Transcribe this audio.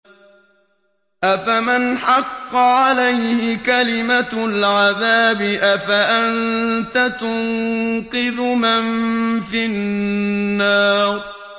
أَفَمَنْ حَقَّ عَلَيْهِ كَلِمَةُ الْعَذَابِ أَفَأَنتَ تُنقِذُ مَن فِي النَّارِ